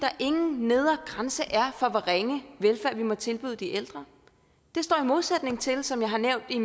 ingen nedre grænse er for hvor ringe velfærd vi må tilbyde de ældre det står modsætning til som jeg har nævnt i